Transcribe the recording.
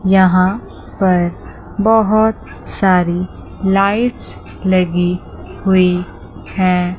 यहां पर बहुत सारी लाइटस लगी हुई हैं।